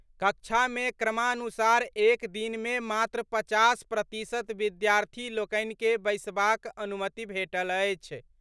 कक्षा मे क्रमानुसार एक दिन मे मात्र पचास प्रतिशत विद्यार्थी लोकनि के बैसबाक अनुमति भेटल अछि।